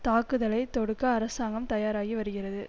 தாக்குதலை தொடுக்க அரசாங்கம் தயாராகி வருகிறது